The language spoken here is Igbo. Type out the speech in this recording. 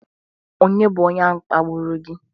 Ònye bụ onye ahụ kpagburu gị?